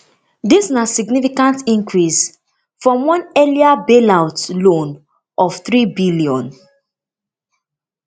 dis na significant increase from one earlier bailout loan of threebn